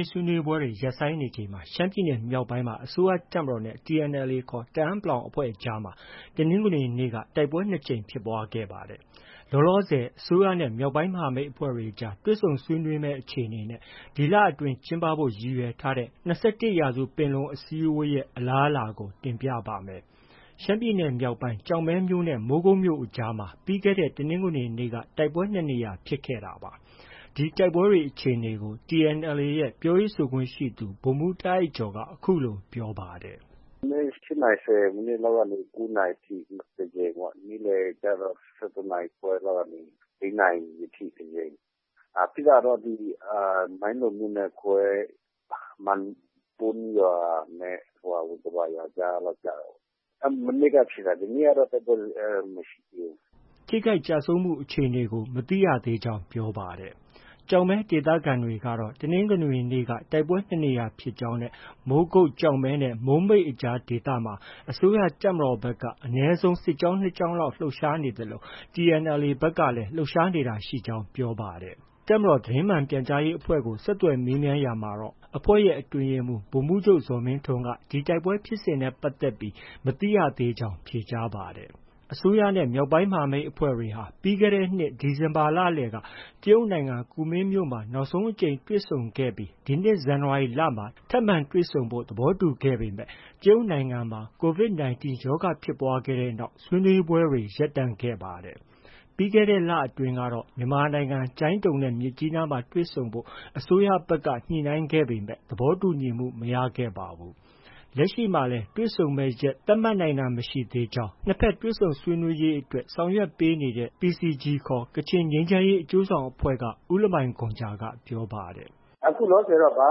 ေး ဆွေးနွေးပွဲတွေ ရပ်ဆိုင်းနေချိန်မှာ ရှမ်းပြည်နယ်မြောက်ပိုင်းမှာ အစိုးရ တပ်မတော်နဲ့ TNLA ခေါ် တအန်း(ပလောင်) အဖွဲ့အကြားမှာ တနင်္ဂနွေနေ့က တိုက်ပွဲ ၂ကြိမ်ဖြစ်ပွားခဲ့ပါတယ်။ လောလောဆည် အစိုးရနဲ့ မြောက်ပိုင်းမဟာမိတ်တွေအကြား တွေ့ဆုံဆွေးနွေးမယ့် အခြေအနေနဲ့ ဒီလအတွင်း ကျင်းဖို့ ရည်ရွယ်ထားတဲ့ ၂၁ရာစုပင်လုံအစည်းအဝေး အခြေအနေတွေကို ကိုမိုးဇော် တင်ပြပါမယ်။ ရှမ်းပြည်နယ် မြောက်ပိုင်း ကျောက်မဲမြို့ နဲ့ မိုးကုတ်မြို့အကြား မှာ ပြီးခဲ့တဲ့ တနင်္ဂနွေနေ့က တိုက်ပွဲ ၂နေရာ ဖြစ်ခဲ့တာပါ။ ဒီတိုက်ပွဲဖြစ်ပွားတဲ့ အခြေအနေကို TNLA ရဲ့ပြောရေးဆိုခွင့်ရှိသူ ဗိုလ်မှူး တားအိုက်ကျော်က အခုလို ပြောပါတယ်။ “ မနက် ၈နာရီ ၁၀မိနစ်လောက်ကနေ ၉နာရီ ထိတစ်ကြိမ်ပေါ့။ နေ့လည်ကျတော့ ၁၁နာရီခွဲလောက်ကနေ ၄နာရီထိ တစ်ကြိမ်။ ဖြစ်တာတော့ မိုင်းလုံမြို့နယ်ခွဲ ၊ မန်ပွန်းရွာနဲ့ ဝင်္ကပါရွာ ကြားလောက်ကျတာပေါ့။ မနေ့က ဖြစ်တာ ဒီနေ့ကတော့ တိုက်ပွဲမဖြစ်သေးဘူး။” ထိခိုက်ကျဆုံးမှုအခြေအနေကို မသိရသေးကြောင်း ပြောပါတယ်။ ကျောက်မဲဒေသခံတွေကတော့ တနင်္ဂနွေနေ့က တိုက်ပွဲ ၂နေရာဖြစ်ကြောင်း၊ မိုးကုတ်၊ ကျောက်မဲနဲ့ မိုးမိတ်အကြားဒေသမှာ အစိုးရတပ်မတော်ဘက်က အနည်းဆုံး စစ်ကြောင်း ၂ကြောင်းလောက် လှုပ်ရှားနေသလို TNLA ဘက်ကလည်း လှုပ်ရှားနေတာရှိကြောင်း ပြောပါတယ်။ တပ်မတော်သတင်းမှန်ပြန်ကြားရေးအဖွဲ့ကို ဆက်သွယ်မေးမြန်းရာမှာတော့ အဖွဲ့ရဲ့အတွင်းရေးမှူး ဗိုလ်မှူးချုပ် ဇော်မင်းထွန်းက ဒီတိုက်ပွဲဖြစ်စဉ်နဲ့ပတ်သက်ပြီး သတင်းမရသေးကြောင်း ဖြေကြားပါတယ်။ မြန်မာအစိုးရနဲ့ မြောက်ပိုင်းမဟာမိတ်အဖွဲ့တွေဟာ ပြီးခဲ့တဲ့နှစ် ဒီဇင်ဘာလလယ်က တရုတ်နိုင်ငံ ကူမင်းမြို့မှာ နောက်ဆုံးအကြိမ်တွေ့ဆုံခဲ့ပြီး ဒီနှစ်ဇန်နဝါရီလမှာ ထပ်မံတွေ့ဆုံဖို့ သဘောတူခဲ့ပေမဲ့ တရုတ်နိုင်ငံမှာ COVID- 19 ရောဂါဖြစ်ပွားခဲ့တဲ့နောက် ဆွေးနွေးပွဲတွေ ရပ်တန့်ခဲ့ပါတယ်။ ပြီးခဲ့တဲ့ လကအတွင်းကတော့ မြန်မာနိုင်ငံ ကျိုင်းတုံနဲ့ မြစ်ကြီးနားမှာ တွေ့ဆုံဖို့ အစိုးရဘက်က ညှိနှိုင်းခဲ့ပေမဲ့ သဘောတူညီမှုမရခဲ့ပါဘူး။ လက်ရှိမှာလည်းတွေ့ဆုံမယ့်ရက် သတ်မှတ်နိုင်တာမရှိသေးကြောင်း နှစ်ဘက်တွေ့ဆုံရေးအတွက်ဆောင်ရွက် ပေးနေတဲ့ PCG ခေါ် ကချင်ငြိမ်းချမ်းရေးအကျိုးဆောင်အဖွဲ့က ဦးလမိုင်ဂွမ်ဂျာက ပြောပါတယ်။ “ အခုလောလောဆည်က ဘာ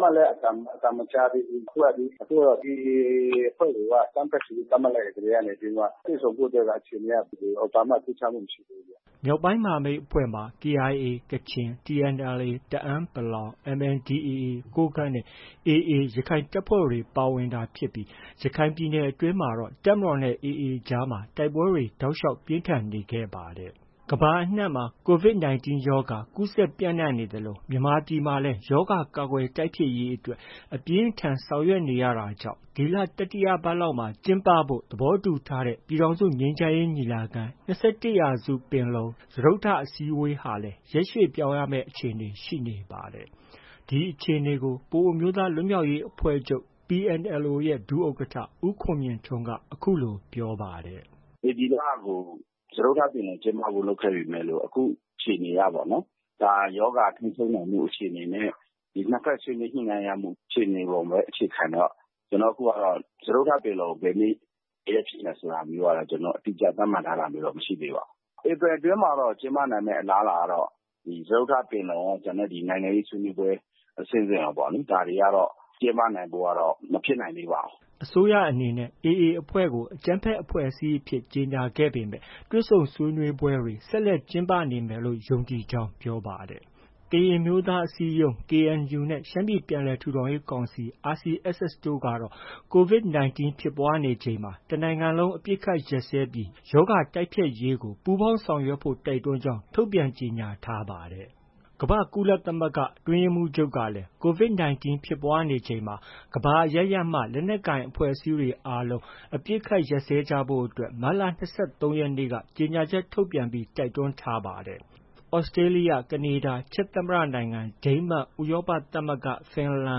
မှလည်း အသံမကြားသေးဘူး။ အခုက အစိုးရက AA အဖွဲ့တွေကို အကြမ်းဖက်ဆိုပြီး သတ်မှတ်လိုက်ကတည်းက တွေ့ဆုံဆွေးနွေးမှုဖို့က ဘာမှ မထူးခြားသေးဘူးဗျ။” မြောက်ပိုင်းမဟာမိတ်အဖွဲ့မှာ KIA ကချင်၊ TNLA တအန်း(ပလောင်)၊ MNDAA ကိုးကန့်နဲ့ AA ရခိုင်တပ်ဖွဲ့တွေ ပါဝင်တာဖြစ်ပြီး ရခိုင်ပြည်နယ်အတွင်းမှာတော့ တပ်မတော်နဲ့ AAအကြားမှာ တိုက်ပွဲတွေ တောက်လျောက် ပြင်းထန်နေခဲ့ပါတယ်။ ကမ္ဘာအနှံ့မှာ Covid19 ရောဂါ ကူးစက်ပျံနှံနေသလို မြန်မာပြည်မှာလည်း ရောဂါကာကွယ် တိုက်ဖျက်ရေးအတွက် အပြင်းအထန် ဆောင်ရွက်နေရတာကြောင့် ဒီလ တတိယပတ်လောက်မှာ ကျင်းပဖို့ သဘောတူညီထားတဲ့ ပြည်ထောင်စုငြိမ်းချမ်းရေးညီလာခံ- ၂၁ရာစု စတုတ္တအကြိမ်အစည်းအဝေးဟာ လည်း ရက်ရွှေ့ပြောင်းရမယ့် အခြေအနေ ရှိနေပါတယ်။ ဒီအခြေအနေကို ပအိုဝ်းအမျိုးသားလွတ်မြောက်ရေးအဖွဲ့ချုပ်ရဲ့ ဒုဥက္ကဌ ဦးခွန်မြင့်ထွန်းက အခုလို ပြောပါတယ်။ “ ဧပြီလကို စတုတ္ထပင်လုံကျင်းပဖို့ လုပ်ခဲ့ပေမယ့်လို့ အခုအခြေအနေကပေါ့နော်။ ကပ်ရောဂါပြီးဆုံးနိုင်မှု အခြေအနေနဲ့ နှစ်ဘက်ညှိနှိုင်းရမှုအခြေအနေအပေါ်ပဲ အခြေခံနေတော့ ကျနော်တို့အခုကတော့ စတုတ္ထပင်လုံ ဘယ်နေ့ ဘယ်ရက်ကျင်းပမယ်ဆိုတာ သတ်မှတ်ထားတာမရှိသေးပါဘူး။ ဧပြီအတွင်းမှာတော့ ကျင်းပနိုင်မယ့် အလားအလာကတော့ စတုတ္ထပင်လုံကော၊ နိုင်ငံရေးဆွေးနွေးပွဲ အဆင့်ဆင့်ရော ဒါတွေကတော့ ကျင်းပနိုင်ဖို့ မဖြစ်နိုင်သေးပါဘူး။ ” အစိုးရအနေနဲ့ AA အဖွဲ့ကို အကြမ်းဖက်အဖွဲ့အစည်းအဖြစ် ကြေညာခဲ့ပေမဲ့ တွေ့ဆုံဆွေးနွေးပွဲတွေ ဆက်လက် ကျင်းပနေမယ်လို့ ယုံကြည်ကြောင်းပြောပါတယ်။ ကရင်အမျိုးသားအစည်းအရုံး KNU နဲ့ ရှမ်းပြည်ပြန်လည်ထူထောင်ရေးကောင်စီ RCSS တို့ကတော့ COVID- 19 ဖြစ်ပွားနေချိန်မှာ တစ်နိုင်ငံလုံးအပစ်အခတ်ရပ်စဲပြီး ရောဂါတိုက်ဖျက်ရေးကို ပူးပေါင်းဆောင်ရွက်ဖို့ တိုက်တွန်းကြောင်း ထုတ်ပြန်ကြေညာထားပါတယ်။ ကမ္ဘာ့ကုလသမဂ္ဂ အတွင်းရေးမှူးချုပ်ကလည်း COVID- 19 ဖြစ်ပွားနေချိန်မှာ ကမ္ဘာအရပ်ရပ်မှ လက်နက်ကိုင်အဖွဲ့အစည်းများ အားလုံး အပစ်အခတ်ရပ်စဲကြရန် မတ်လ(၂၃)ရက်နေ့က ကြေညာချက်ထုတ်ပြန်တိုက်တွန်းထားသလို သြစတြေးလျ၊ ကနေဒါ၊ ချက်သမ္မတနိုင်ငံ၊ ဒိန်းမတ် ၊ ဥရောပသမဂ္ဂ၊ ဖင်လန်နို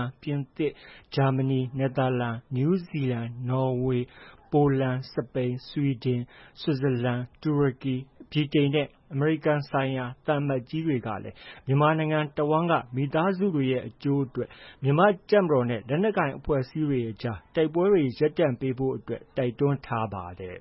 င်ငံ၊ ပြင်သစ် ၊ဂျာမဏီ ၊ နယ်သာလန်၊ နယူးဇီလန် ၊ နော်ေ၀ ၊ ပိုလန် ၊ စပိန်၊ ဆွီဒင်၊ ဆွစ်ဇလန်၊ တူရကီ၊ ဗြိတိန် ၊အမေရိကန်ဆိုင်ရာ သံအမတ်ကြီးတွေကလည်း မြန်မာနိုင်ငံတစ်ဝှမ်းက မိသားစုတွေရဲ့ အကျိုးအတွက် မြန်မာတပ်မတော်နဲ့ လက်နက်ကိုင် အဖွဲ့အစည်းအကြား တိုက်ပွဲများရပ်တန့်ပေးဖို့ တိုက်တွန်းထားပါတယ်